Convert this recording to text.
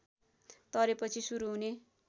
तरेपछि सुरू हुने